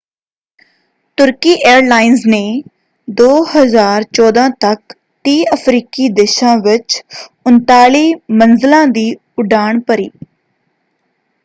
ਤੁਰਕੀ ਏਅਰਲਾਈਂਸ ਨੇ 2014 ਤੱਕ 30 ਅਫਰੀਕੀ ਦੇਸ਼ਾਂ ਵਿੱਚ 39 ਮੰਜ਼ਲਾਂ ਦੀ ਉਡਾਣ ਭਰੀ।